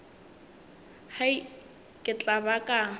hai ke tla ba ka